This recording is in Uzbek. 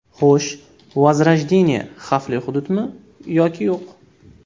Xo‘sh, Vozrojdeniye xavfli hududmi yoki yo‘q?